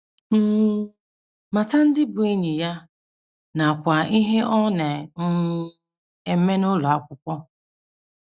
um Mata ndị bụ́ ndị enyi ya, nakwa ihe ọ na - um eme n’ụlọ akwụkwọ.